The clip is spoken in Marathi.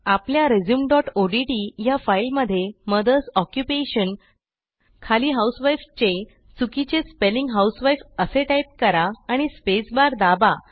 आपल्या resumeodtया फाईलमध्ये मदर्स ऑक्युपेशन खाली housewifeचे चुकीचे स्पेलिंग husewifeअसे टाईप करा आणि स्पेसबार दाबा